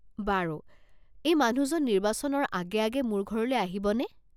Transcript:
বাৰু, এই মানুহজন নিৰ্বাচনৰ আগে আগে মোৰ ঘৰলৈ আহিবনে?